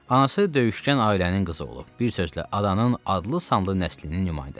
Anası döyüşgən ailənin qızı olub, bir sözlə adanın adlı-sanlı nəslinin nümayəndəsidir.